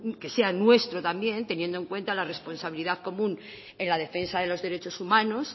que sea nuestro también teniendo en cuenta la responsabilidad común en la defensa de los derechos humanos